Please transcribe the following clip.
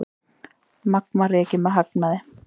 Magma rekið með hagnaði